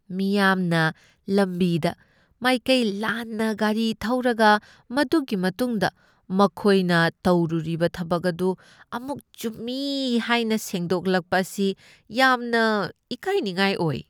ꯃꯤꯌꯥꯝꯅ ꯂꯝꯕꯤꯗ ꯃꯥꯏꯀꯩ ꯂꯥꯟꯅ ꯒꯥꯔꯤ ꯊꯧꯔꯒ ꯃꯗꯨꯒꯤ ꯃꯇꯨꯡꯗ ꯃꯈꯣꯏꯅ ꯇꯧꯔꯨꯔꯤꯕ ꯊꯕꯛ ꯑꯗꯨ ꯑꯃꯨꯛ ꯆꯨꯝꯃꯤ ꯍꯥꯏꯅ ꯁꯦꯡꯗꯣꯛꯂꯛꯄ ꯑꯁꯤ ꯌꯥꯝꯅ ꯏꯀꯥꯏꯅꯤꯡꯉꯥꯏ ꯑꯣꯏ ꯫